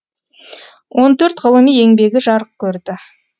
он төрт ғылыми еңбегі жарық көрді